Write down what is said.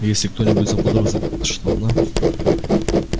и если кто-нибудь заподозрит что она